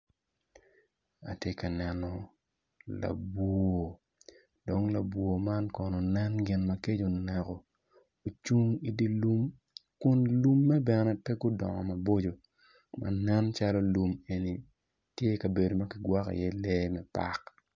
Atye ka neno labwor dong labwor man kono nen gin ma kec oneko ocung i dilum kun dilumme bene pe gudongo maboco manen calo lum enini tye kabedo ma kigwoko i ye lee me park.